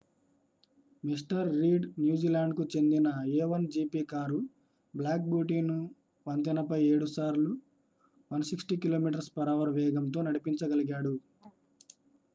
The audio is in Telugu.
మిస్టర్ రీడ్ న్యూజిలాండ్‌కు చెందిన a1gp కారు black beautyను వంతెనపై 7 సార్లు 160km/h వేగంతో నడిపించగలిగాడు